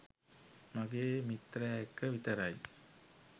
මගේ මිත්‍රය එක්ක විතරයි.